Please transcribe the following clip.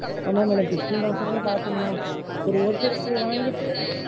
ஆமா madam. fifteen-thousand லையே பாக்கணும் madam. இப்போ ஒருத்தருக்கு வாங்கிட்டு,